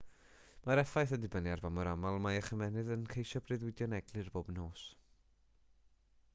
mae'r effaith yn dibynnu ar ba mor aml mae eich ymennydd yn ceisio breuddwydio'n eglur bob nos